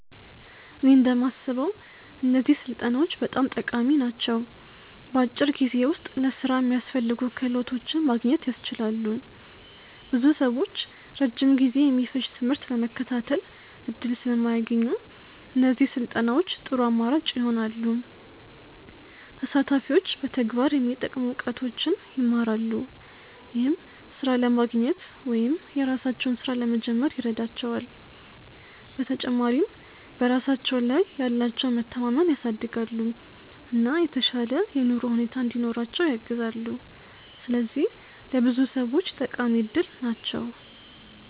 እኔ እንደማስበው እነዚህ ስልጠናዎች በጣም ጠቃሚ ናቸው። በአጭር ጊዜ ውስጥ ለሥራ የሚያስፈልጉ ክህሎቶችን ማግኘት ያስችላሉ። ብዙ ሰዎች ረጅም ጊዜ የሚፈጅ ትምህርት ለመከታተል እድል ስለማያገኙ፣ እነዚህ ስልጠናዎች ጥሩ አማራጭ ይሆናሉ። ተሳታፊዎች በተግባር የሚጠቅሙ እውቀቶችን ይማራሉ፣ ይህም ሥራ ለማግኘት ወይም የራሳቸውን ሥራ ለመጀመር ይረዳቸዋል። በተጨማሪም በራሳቸው ላይ ያላቸውን መተማመን ያሳድጋሉ፣ እና የተሻለ የኑሮ ሁኔታ እንዲኖራቸው ያግዛሉ። ስለዚህ ለብዙ ሰዎች ጠቃሚ እድል ናቸው።